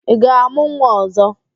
Ị ga-amụ nwa ọzọ?